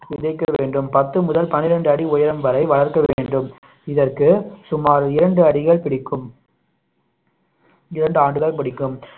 விதைக்க வேண்டும் பத்து முதல் பன்னிரெண்டு அடி உயரம் வரை வளர்க்க வேண்டும் இதற்கு சுமார் இரண்டு அடிகள் பிடிக்கும் இரண்டு ஆண்டுகள் பிடிக்கும்